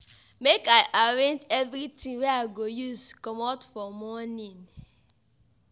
Make I arrange everytin wey I go use comot for morning.